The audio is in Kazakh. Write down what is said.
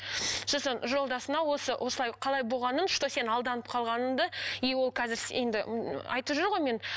сосын жолдасыңа осы осылай қалай болғанын что сен алданып қалғаныңды и ол қазір енді айтып жүр ғой мен